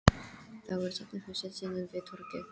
Þá er safnahúsið sunnan við torgið.